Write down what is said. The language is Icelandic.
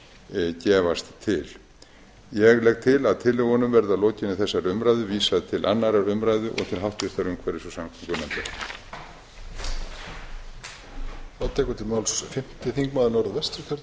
efni gefast til ég legg til að tillögunum verði að lokinni þessari umræðu vísað til annarrar umræðu og til háttvirtrar umhverfis og samgöngunefndar